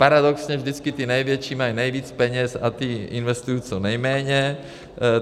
Paradoxně vždycky ty největší mají nejvíc peněz a ty investují co nejméně.